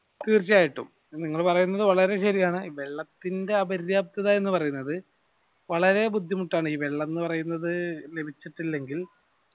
തീർച്ച ആയിട്ടും നിങ്ങൾ പറയുന്നത് വളരെ ശരിയാണ് വെള്ളത്തിന്റെ അപര്യപ്തത എന്ന് പറയുന്നത് വളരെ ബുദ്ധിമുട്ട് ആണ് ഈ വെള്ളം എന്ന് പറയുന്നത് ലഭിച്ചിട്ടില്ലെങ്കിൽ